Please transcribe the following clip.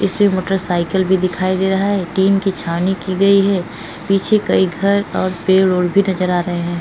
इसमें मोटरसाइकिल भी दिखाई दे रहा है। टीन की छावनी की गई है। पीछे कई घर और पेड़ और भी नजर आ रहे हैं। --